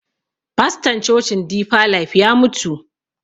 Faston cocin difa laif ya mutu.